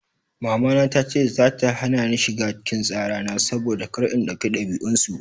Mamana tace za ta hana ni shiga cikin tsara na saboda kar in dauki dabi'un su.